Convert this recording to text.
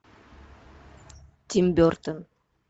тим бертон